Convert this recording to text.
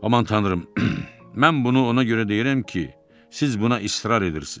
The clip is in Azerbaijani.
Aman tanrım, mən bunu ona görə deyirəm ki, siz buna israr edirsiniz.